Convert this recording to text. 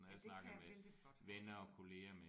Ja det kan jeg vældig godt forestille mig